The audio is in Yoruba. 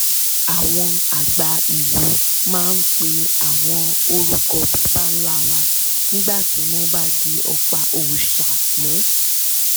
àwọn àgbà ìlú máa ń pe àwọn orúkọ baba ńlá wa nígbà tí wọ́n bá di ọ̀pá òòṣà mú